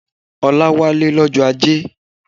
Ọlá wálé lọ́jọ́ Ajé